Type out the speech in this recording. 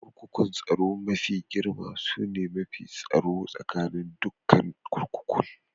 Kurkukun tsaro mafi girma sune mafi tsaron tsakanin dukan kurkukun.